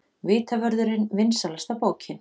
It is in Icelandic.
Vitavörðurinn vinsælasta bókin